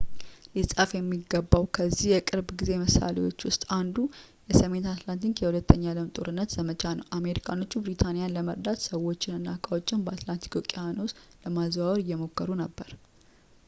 ሊጻፍ የሚገባው ከዚህ የቅርብ ጊዜ ምሳሌዎች ውስጥ አንዱ የሰሜን አትላንቲክ የሁለተኛው የዓለም ጦርነት ዘመቻ ነው አሜሪካኖቹ ብሪታንያን ለመርዳት ሰዎችን እና ዕቃዎችን በአትላንቲክ ውቅያኖስ ለማዘዋወር እየሞከሩ ነበር